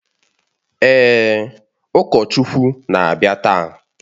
Èè, ụkọchukwu na-abịa taa